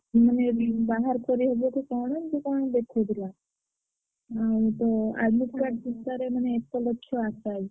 ମାନେ ବାହାରକରି ହବ କି କଣ? ଏମତି କଣ ଦେଖଉଥିଲା।